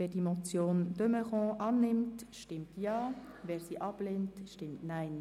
Wer die Motion de Meuron annimmt, stimmt Ja, wer diese ablehnt, stimmt Nein.